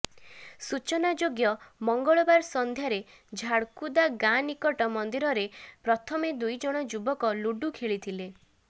ସୂଚନା ଯୋଗ୍ୟ ମଙ୍ଗଳବାର ସନ୍ଧ୍ୟାରେ ଝାଡ଼କୁଦା ଗାଁ ନିକଟ ମନ୍ଦିରରେ ପ୍ରଥମେ ଦୁଇ ଜଣ ଯୁବକ ଲୁଡ଼ୁ ଖେଳିଥିଲେ